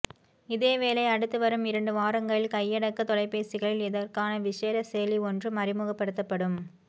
இதேவேளை அடுத்து வரும் இரண்டு வாரங்களில் கையடக்க தொலைபேசிகளில் இதற்கான விசேட செயலி ஒன்றும் அறிமுகப்படுத்தப்படும்